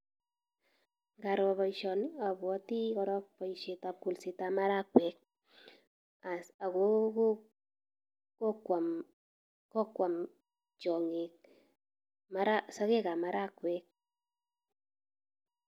Ngaro boisioni abwoti korok boisitab kolsetab marakwek, as ago go gokwam gokwam tiong'ik mara, sogekab marakwek.